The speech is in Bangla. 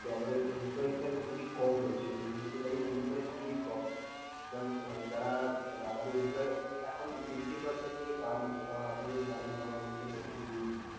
তো আমাদের employee খুবই কম রয়েছে এই মুহুর্তে দাঁড়িয়ে employee খুবই কম মা~মানে যারা মানে আমাদের employee এখন fifty percent নিয়ে কাজ হচ্ছে কারন আপনি জানেন government এর নতুন rules যে।